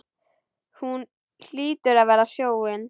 Hún hlýtur að velja sjóinn.